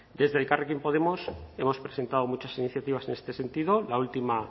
desde elkarrekin podemos hemos presentado muchas iniciativas en este sentido la última